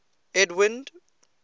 edwind